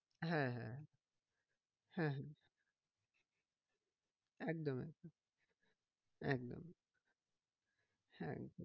হ্যাঁ হ্যাঁ হ্যাঁ হ্যাঁ একদম একদম একদম